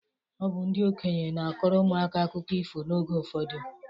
Ọ bụ ndị okenye na-akọrọ ụmụaka akụkọ ifo n'oge ụfọdụ.